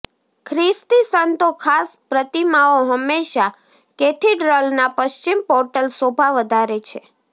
ખ્રિસ્તી સંતો ખાસ પ્રતિમાઓ હંમેશા કેથીડ્રલના પશ્ચિમ પોર્ટલ શોભા વધારે છે